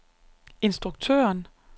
instruktøren